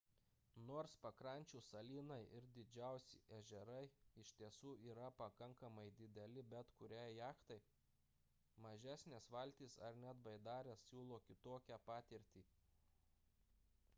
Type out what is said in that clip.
nors pakrančių salynai ir didžiausi ežerai iš tiesų yra pakankamai dideli bet kuriai jachtai mažesnės valtys ar net baidarės siūlo kitokią patirtį